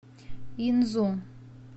инзу